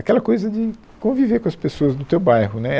Aquela coisa de conviver com as pessoas do teu bairro, né